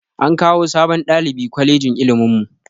An kawo sabon ɗalibi kwalejin ilimin mu